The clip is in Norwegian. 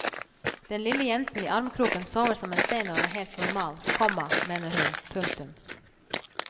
Den lille jenten i armkroken sover som en stein og er helt normal, komma mener hun. punktum